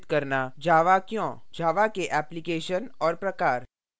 java क्यों java के applications और प्रकार